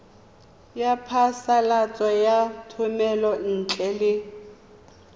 ya phasalatso ya thomelontle le